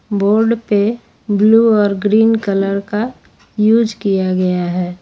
Board पे blue और green colour का यूज किया गया है।